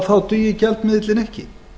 þá dugi gjaldmiðillinn ekki